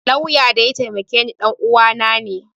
Lauyan da ya taimake ni ɗanuwa na ne